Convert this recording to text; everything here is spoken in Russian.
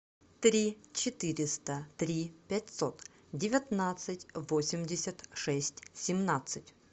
три четыреста три пятьсот девятнадцать восемьдесят шесть семнадцать